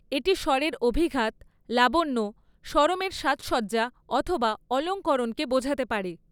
এটি স্বরের অভিঘাত, লাবণ্য, স্বরমের সাজসজ্জা অথবা অলঙ্করণকে বোঝাতে পারে।